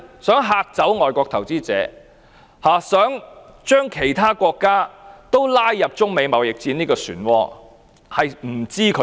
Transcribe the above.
希望嚇怕外國投資者、希望將其他國家拉入中美貿易戰的漩渦中？